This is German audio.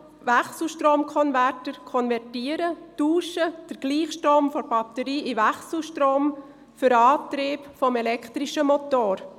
Wechselstromkonverter wandeln den Gleichstrom der Batterie in Wechselstrom für den Antrieb des elektrischen Motors.